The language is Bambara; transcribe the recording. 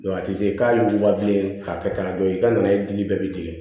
a tɛ se k'a ju ba bilen k'a kɛ k'a dɔn i ka na ye dili bɛɛ bɛ jigin